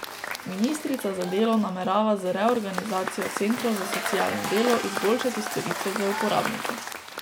Ministrica za delo namerava z reorganizacijo centrov za socialno delo izboljšati storitve za uporabnike.